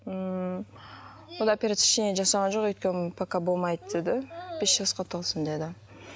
ммм онда операция ештеңе жасаған жоқ өйткені пока болмайды деді бес жасқа толсын деді